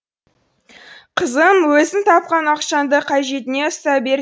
қызым өзің тапқан ақшаңды қажетіңе ұстай бер